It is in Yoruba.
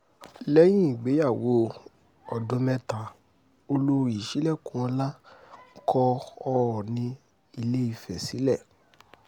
lẹ́yìn ìgbéyàwó ọdún mẹ́ta olórí sílẹ̀kùnọ́lá kọ ọọ̀nì ìlééfẹ̀ sílẹ̀